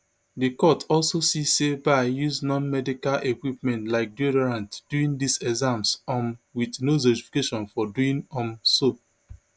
di court also see say bye use nonmedical equipment like deodorant during dis exams um wit no justification for doing um so